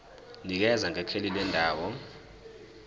nikeza ngekheli lendawo